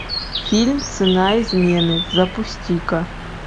фильм цена измены запусти ка